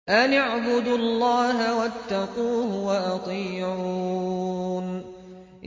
أَنِ اعْبُدُوا اللَّهَ وَاتَّقُوهُ وَأَطِيعُونِ